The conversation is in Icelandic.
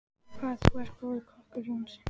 Hvað þú er góður kokkur, Jónsi.